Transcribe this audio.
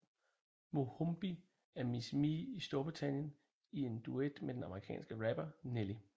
Mohombi er Miss Me i Storbritannien i en duet med den amerikanske rapper Nelly